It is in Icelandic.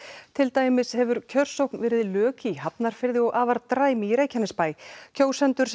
til dæmis hefur kjörsókn verið lök í Hafnarfirði og afar dræm í Reykjanesbæ kjósendur